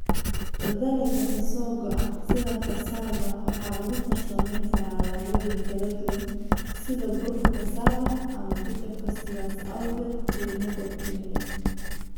Dalagga ka soo go'a sida cassava waxaa lagu farsamayn karaa alaabooyin kala duwan sida burka cassava ama jajabka, sidaas awgeedna qiimo kordhinaya.